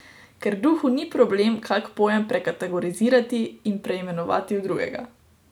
Ker duhu ni problem kak pojem prekategorizirati in preimenovati v drugega.